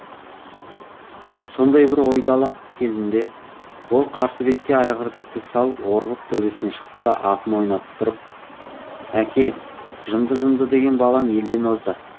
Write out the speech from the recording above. сондай бір ойдалақ кезінде ол қарсы бетке айғырды тік салып орғып төбесіне шықты да атын ойнатып тұрып әке жынды жынды деген балаң елден озды